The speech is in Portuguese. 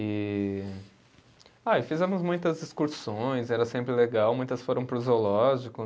E, ah e fizemos muitas excursões, era sempre legal, muitas foram para o zoológico.